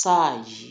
sáà yi